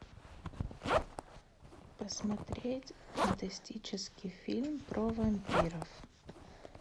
посмотреть фантастический фильм про вампиров